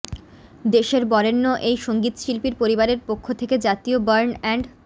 দেশের বরেণ্য এই সংগীতশিল্পীর পরিবারের পক্ষ থেকে জাতীয় বার্ন অ্যান্ড